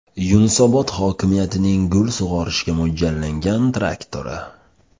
Yunusobod hokimiyatining gul sug‘orishga mo‘ljallangan traktori.